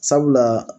Sabula